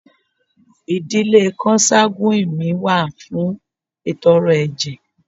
Idile konsaguwini mi wa fun itọrẹ ẹjẹ